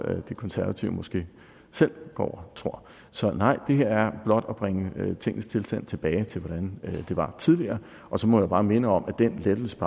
de konservative måske selv går og tror så nej det er blot at bringe tingenes tilstand tilbage til hvordan det var tidligere så må jeg bare minde om at den lettelse af